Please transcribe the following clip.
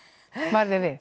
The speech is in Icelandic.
varð þér við